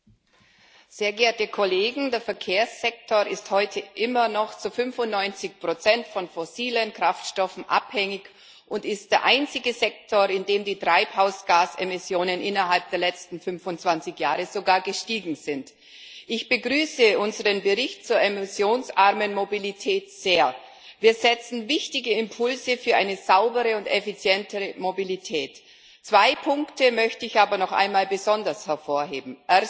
Herr Präsident, sehr geehrte Kolleginnen und Kollegen! Der Verkehrssektor ist heute immer noch zu 95 von fossilen Kraftstoffen abhängig und ist der einzige Sektor, in dem die Treibhausgasemissionen innerhalb der letzten 25 Jahre sogar gestiegen sind. Ich begrüße unseren Bericht zur emissionsarmen Mobilität sehr. Wir setzen wichtige Impulse für eine saubere und effizientere Mobilität. Zwei Punkte möchte ich aber noch einmal besonders hervorheben.